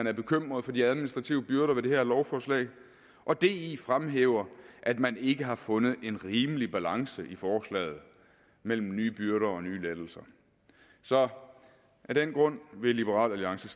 er bekymret for de administrative byrder ved det her lovforslag og di fremhæver at man ikke har fundet en rimelig balance i forslaget mellem nye byrder og nye lettelser så af den grund vil liberal alliance